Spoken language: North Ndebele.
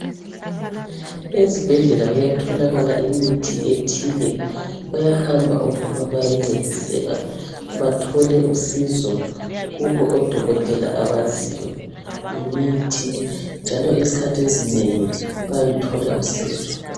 Ezibhedlela kuyatholakala imithi ethile bayahamba omama bayencediseka bathole usizo kubo odokotela abaziyo ngemithi njalo izikhathi ezinengi bayaluthila usizo.